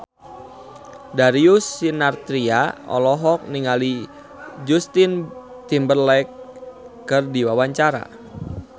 Darius Sinathrya olohok ningali Justin Timberlake keur diwawancara